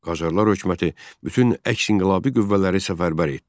Qacarlar hökuməti bütün əks-inqilabi qüvvələri səfərbər etdi.